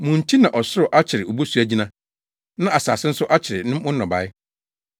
Mo nti na ɔsoro akyere obosu agyina, na asase nso akyere mo nnɔbae.